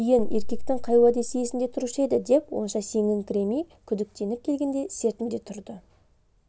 кейін еркектің қай уәдесі есінде тұрушы еді деп онша сеніңкіремей күдіктеніп келгенде сертінде тұрды